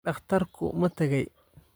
dhakhtarku ma tagay?